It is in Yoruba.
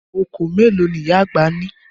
Okòó mélòó ni ìyá àgbà ní?